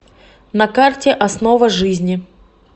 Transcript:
на карте основа жизни